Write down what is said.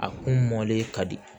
A kun mɔlen ka di